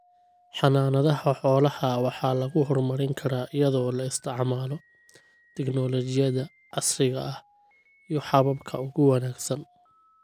Xanaanada xoolaha waxa lagu horumarin karaa iyadoo la isticmaalo tignoolajiyada casriga ah iyo hababka ugu wanaagsan.